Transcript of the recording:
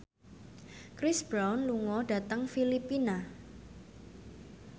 Chris Brown lunga dhateng Filipina